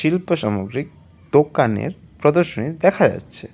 চিত্র সামগ্রীর দোকানের প্রদর্শনী দেখা যাচ্ছে।